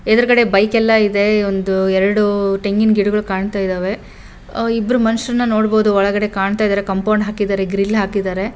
ಎದುರುಗಡೆ ಬೈಕ್ ಎಲ್ಲ ಇದೆ ಇವೆಂದು ಎರಡು ತೆಂಗಿನ ಗಿಡಗಳು ಕಾಣ್ತಾ ಇದ್ದಾವೆ ಇಬ್ರು ಮನುಷ್ಯರನ್ನ ನೋಡಬಹುದು ಒಳಗಡೆ ಕಾಂಪೌಂಡ್ ಹಾಕೋದೆ ಗ್ರಿಲ್ ಹಾಕಿದ್ದಾರೆ.